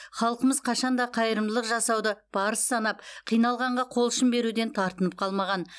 халқымыз қашанда қайырымдылық жасауды парыз санап қиналғанға қол ұшын беруден тартынып қалмаған